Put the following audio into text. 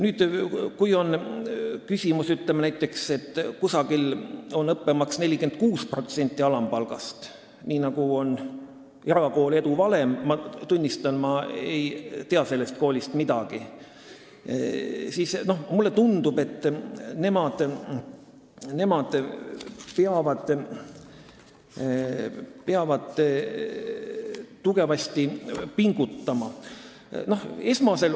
Nüüd, kui kusagil on õppemaks 46% alampalgast, nii nagu on erakoolil Edu Valem – ma tunnistan, et ma ei tea sellest koolist midagi –, siis mulle tundub, et nemad peavad tugevasti pingutama.